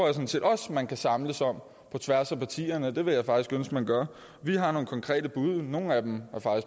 sådan set også man kan samles om på tværs af partierne og det vil jeg faktisk ønske man gør vi har nogle konkrete bud nogle af dem